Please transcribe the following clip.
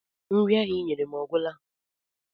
Nri ahụ I nyere m ọ gwụla?